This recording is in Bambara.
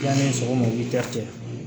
Yanni sɔgɔma